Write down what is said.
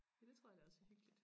Ja det tror jeg da også er hyggeligt